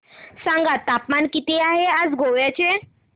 सांगा तापमान किती आहे आज गोवा चे